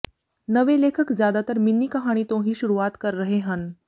ਨਵੇਂ ਲੇਖਕ ਜ਼ਿਆਦਾਤਰ ਮਿੰਨੀ ਕਹਾਣੀ ਤੋਂ ਹੀ ਸ਼ੁਰੂਆਤ ਕਰ ਰਹੇ ਹਨ